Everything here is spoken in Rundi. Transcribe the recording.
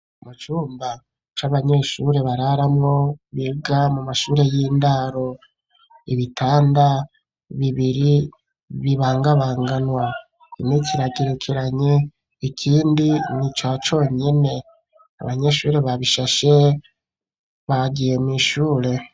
Mu cumba c'abanyeshuri bararamwo biga mu mashure y'indaro ibitanda bibiri bibangabanganwa, kimwe kiragerekeranye ikindi nica conyene, abanyeshuri babishashe bagiye mwishure.